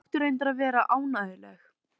Þau ættu reyndar að geta verið ánægjuleg.